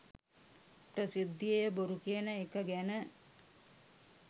ප්‍රසිද්ධියේ බොරු කියන එක ගැන